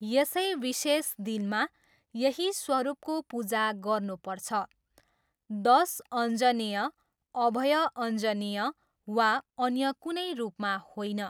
यसै विशेष दिनमा यही स्वरूपको पूजा गर्नुपर्छ, दस अञ्जनेय, अभय अञ्जनेय वा अन्य कुनै रूपमा होइन।